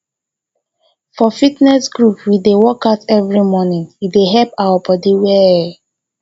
for fitness group we dey workout every morning e dey help our body well